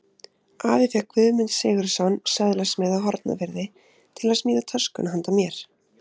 Afi fékk Guðmund Sigurðsson, söðlasmið á Hornafirði, til að smíða töskuna handa mér.